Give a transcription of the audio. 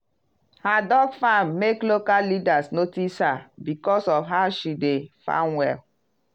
her duck farm make local leaders notice her because of how she dey farm well.